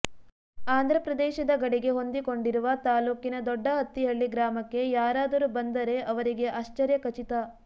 ಆಂ ಧ್ರಪ್ರದೇಶದ ಗಡಿಗೆ ಹೊಂದಿಕೊಂಡಿರುವ ತಾಲ್ಲೂಕಿನ ದೊಡ್ಡಅತ್ತಿಹಳ್ಳಿ ಗ್ರಾಮಕ್ಕೆ ಯಾರಾದರೂ ಬಂದರೆ ಅವರಿಗೆ ಆಶ್ಚರ್ಯ ಖಚಿತ